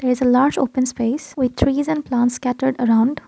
this is lots open space which reason from scattered around.